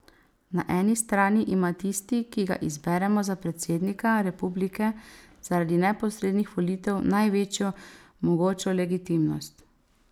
Na eni strani ima tisti, ki ga izberemo za predsednika republike zaradi neposrednih volitev največjo mogočo legitimnost.